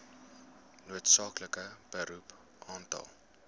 noodsaaklike beroep aantal